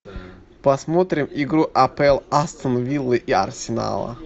посмотрим игру апл астон виллы и арсенала